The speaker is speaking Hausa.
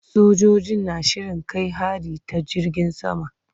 Sojojin na shirin kai hari ta jirgin sama.